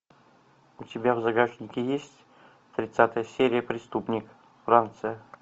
у тебя в загашнике есть тридцатая серия преступник франция